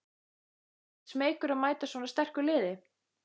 Ekkert smeykur að mæta svona sterku liði?